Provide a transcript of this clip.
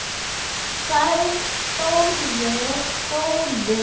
sagði Þórður